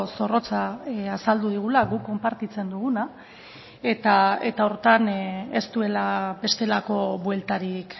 zorrotza azaldu digula guk konpartitzen duguna eta horretan ez duela bestelako bueltarik